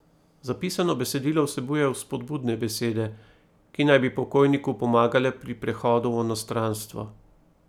Zapisano besedilo vsebuje vzpodbudne besede, ki naj bi pokojniku pomagale pri prehodu v onostranstvo.